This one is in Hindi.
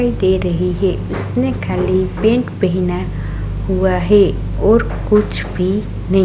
दे रही है उसने खाली पेंट पहना हुआ है और कुछ भी नहीं।